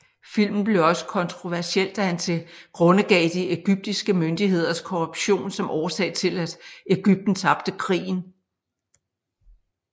Filmen blev også kontroversiel da han tilgrundegav de egyptiske myndigheders korruption som årsag til at Egypten tabte krigen